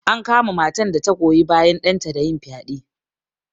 An kama matan da ta goyi bayan ɗanta da yin fyaɗe.